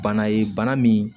Bana ye bana min